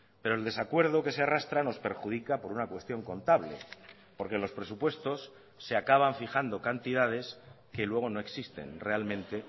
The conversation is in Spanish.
pero el desacuerdo que se arrastra nos perjudica por una cuestión contable porque en los presupuestos se acaban fijando cantidades que luego no existen realmente